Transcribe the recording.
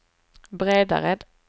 Bredared